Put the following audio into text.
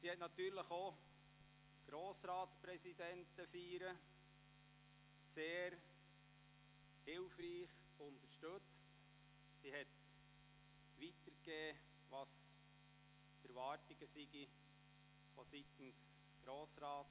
Sie unterstützte natürlich auch Grossratspräsidentenfeiern sehr hilfreich und gab an die Gemeinden weiter, was der Grosse Rat dabei erwartet.